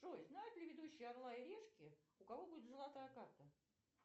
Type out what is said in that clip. джой знают ли ведущие орла и решки у кого будет золотая карта